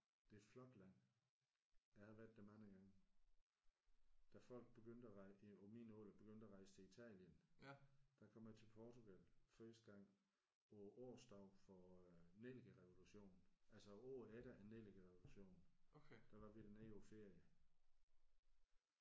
Det er et flot land. Jeg har været der mange gange. Da folk begyndte at på min alder begyndte at rejse til Italien der kom jeg til Portugal første gang på årsdagen for øh Nellikerevolutionen. Altså året efter Nellikerevolutionen der var vi dernede på ferie